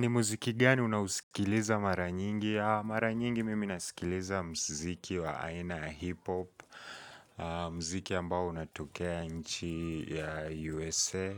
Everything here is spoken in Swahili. Ni muziki gani unausikiliza mara nyingi? Mara nyingi mimi nasikiliza muziki wa aina ya hip hop mziki ambayo unatokea nchi ya USA